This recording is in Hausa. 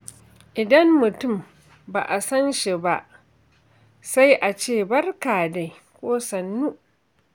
Idan mutum ba a sanshi ba, sai a ce “Barka dai!” ko “Sannu?”